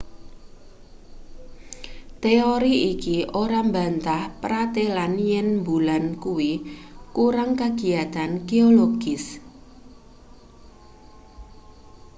teori iki ora mbantah pratelan yen mbulan kuwi kurang kagiyatan geologis